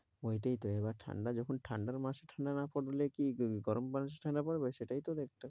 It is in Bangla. ওইটাইত এবার ঠান্ডা যখন ঠান্ডার মাসে ঠান্ডা না পরবে তো কি গরম মাসে ঠান্ডা পরবে? সেটাইতো দেখছি।